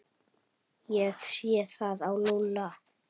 Ég sé það á Lúlla.